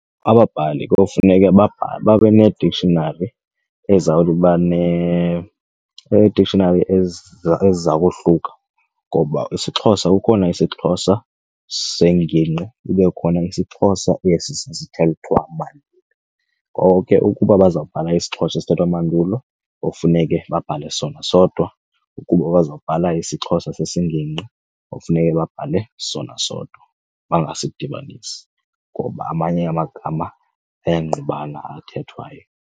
Ababhali kuwufuneke babhale babe ne-dictionary babe nee-dictionary eziziza kohluka ngoba isiXhosa kukhona isiXhosa sengingqi kube khona isiXhosa esi sasithethwa mandulo. Ngoko ke ukuba abazawubhala isiXhosa esithathwa mandulo kowufuneke babhale sona sodwa, ukuba bazawubhala isixXhosa sesingingqi kowufuneke babhale sona sodwa bangasidibanisi ngoba amanye amagama angqubana athethwayo.